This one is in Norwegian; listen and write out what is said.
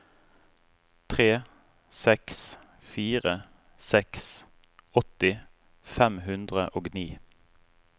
tre seks fire seks åtti fem hundre og ni